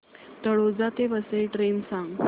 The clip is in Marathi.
तळोजा ते वसई ट्रेन सांग